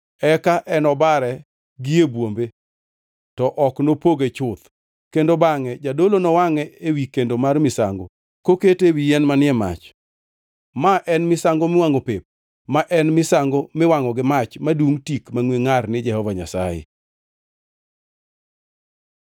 Eka enobare gi e bwombe, to ok nopoge chuth, kendo bangʼe jadolo nowangʼe ewi kendo mar misango, kokete ewi yien manie mach. Ma en misango miwangʼo pep, ma en misango miwangʼo gi mach, madungʼ tik mangʼwe ngʼar ni Jehova Nyasaye.